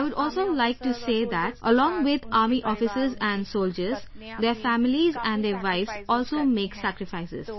I would also like to say that along with Army Officers and soldiers their families and their wives also make sacrifices